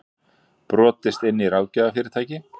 Brotist inn í ráðgjafarfyrirtæki